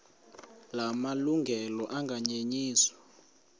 la malungelo anganyenyiswa